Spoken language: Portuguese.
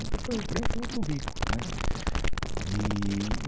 Então foi, para mim, foi muito rico né eee